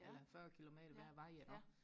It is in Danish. eller fyrre kilometer hver vej iggå